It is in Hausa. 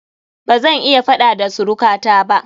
Bazan yi faɗa da suruka ta ba